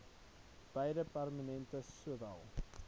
beide permanente sowel